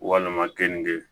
Walima keninke